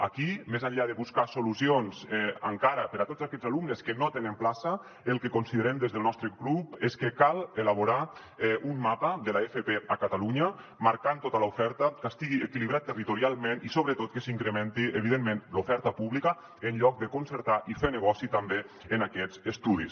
aquí més enllà de buscar solucions encara per a tots aquests alumnes que no tenen plaça el que considerem des del nostre grup és que cal elaborar un mapa de l’fp a catalunya marcant tota l’oferta que estigui equilibrat territorialment i sobretot que s’incrementi evidentment l’oferta pública en lloc de concertar i fer negoci també en aquests estudis